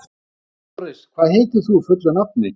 Doris, hvað heitir þú fullu nafni?